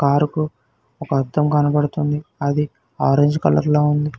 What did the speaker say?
Car కు ఒక అద్దం కనపడుతుంది అది ఆరెంజ్ కలర్ లో ఉంది.